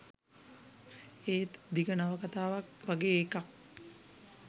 ඒත් දිග නවකතාවක් වගේ එකක්